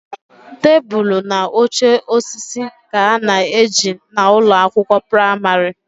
Tebụl na oche osisi ka a na ejina ụlọ akwụkwọ pramarị